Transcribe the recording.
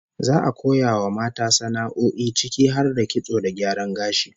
Za'a koya wa mata sana'o'i ciki har da kitso da gyaran gashi